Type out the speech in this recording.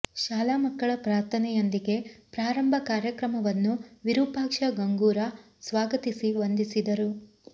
ಶಾಲಾ ಮಕ್ಕಳ ಪ್ರಾರ್ಥನೆಯೊಂದಿಗೆ ಪ್ರಾರಂಭ ಕಾರ್ಯಕ್ರಮವನ್ನು ವಿರೂಪಾಕ್ಷ ಗಂಗೂರ ಸ್ವಾಗತಿಸಿ ವಂದಿಸಿದರು